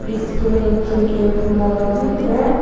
इसके नीचे एक मोर भी है।